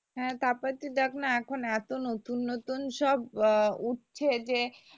হ্যাঁ তারপর তুই দেখ না এখন এতো নতুন নতুন সব আহ উঠছে যে